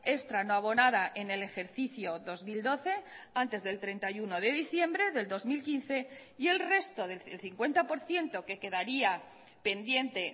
extra no abonada en el ejercicio dos mil doce antes del treinta y uno de diciembre del dos mil quince y el resto el cincuenta por ciento que quedaría pendiente